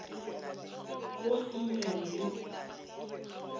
go a amogelwe le go